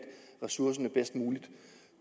ressourcerne bedst muligt